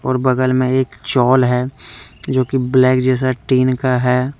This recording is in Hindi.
ये बगल में एक चॉल है जो कि ब्लैक जैसा टीन का है।